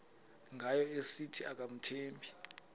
ngayo esithi akamthembi